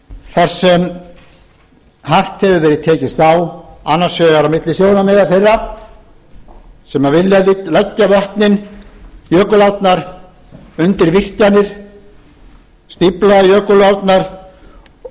þar sem hart hefur verið tekist á annars vegar á milli sjónarmiða þeirra sem vilja leggja vötnin jökulárnar undir virkjanir stífla jökulárnar og